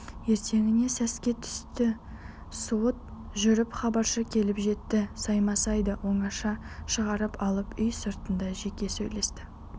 ертеңіне сәске түсте суыт жүріп хабаршы келіп жетті саймасайды оңаша шығарып алып үй сыртында жеке сөйлесті